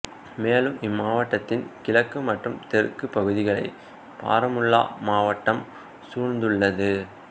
மேலும் இம்மாவட்டத்தின் கிழக்கு மற்றும் தெற்கு பகுதிகளை பாரமுல்லா மாவட்டம் சூழ்ந்துள்ளது